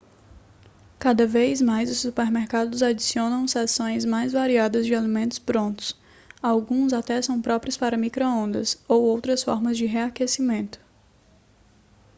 cada vez mais os supermercados adicionam seções mais variada de alimentos prontos alguns até são próprios para micro-ondas ou outras formas de reaquecimento